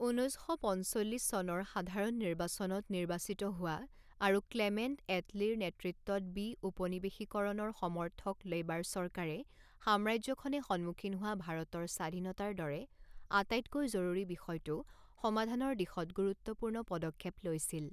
ঊনৈছ শ পঞ্চল্লিছ চনৰ সাধাৰণ নিৰ্বাচনত নিৰ্বাচিত হোৱা আৰু ক্লেমেণ্ট এটলীৰ নেতৃত্বত বিউপনিবেশিকৰণৰ সমৰ্থক লেবাৰ চৰকাৰে সাম্ৰাজ্যখনে সন্মুখীন হোৱা ভাৰতৰ স্বাধীনতাৰ দৰে আটাইতকৈ জৰুৰী বিষয়টো সমাধানৰ দিশত গুৰুত্বপূৰ্ণ পদক্ষেপ লৈছিল।